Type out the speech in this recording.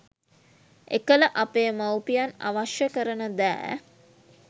එකල අපේ මවුපියන් අවශ්‍ය කරන දෑ